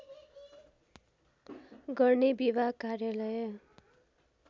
गर्ने विभाग कार्यालय